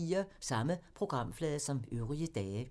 Samme programflade som øvrige dage